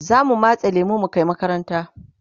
zamu matse lemun mu Kai makaranta